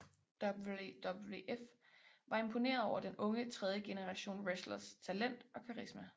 WWF var imponeret over den unge tredjegenerationswrestlers talent og karisma